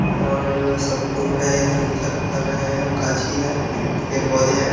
और सब घूम रहे हैं इधर-उधर कर रहे हैं हम गाछी है पेड़- पौधे हैं ।